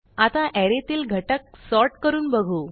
आता अरे तील घटक sortकरून बघू